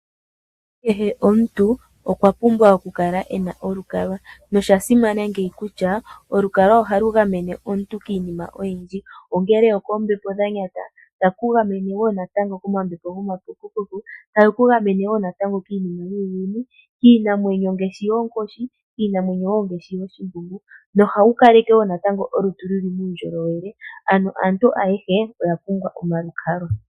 Kehe omuntu okwa pumbwa okukala e na olukalwa. Osha simana kutya olukalwa ohalu gamene omuntu kiinima oyindji ngaashi oombepo dha nyata, talu ku gamene wo koombeepo dhomapukupuku, talu ku gamene wo natango kiinima yuuyuni, kiinamwenyo ngaashi yoonkoshi nooshimbunga Ohalu kaleke wo olutu lu li muundjolowele. Ano aantu ayehe oya pumbwa omalukalwa.